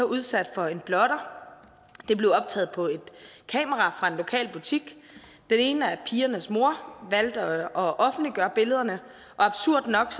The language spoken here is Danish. udsat for en blotter det blev optaget på et kamera fra en lokal butik den ene af pigernes mor valgte at offentliggøre billederne og absurd nok